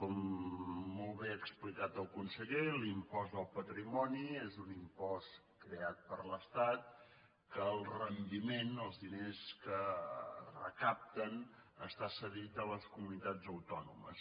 com molt bé ha explicat el conseller l’impost del patrimoni és un impost creat per l’estat en què el rendiment els diners que es recapten està cedit a les comunitats autònomes